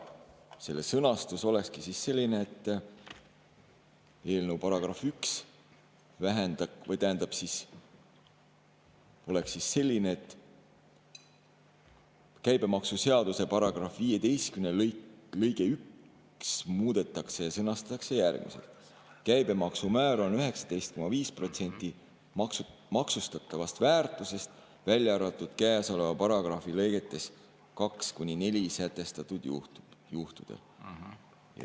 Selle sõnastus oleks selline, selle eelnõu § 1 oleks selline, et käibemaksuseaduse § 15 lõige 1 muudetakse ja sõnastatakse järgmiselt: käibemaksumäär on 19,5% maksustatavast väärtusest, välja arvatud käesoleva paragrahvi lõigetes 2–4 sätestatud juhtudel.